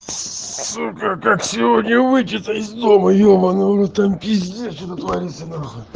сука как сегодня выйти то из дома ебанный в рот там пиздец что творится нахуй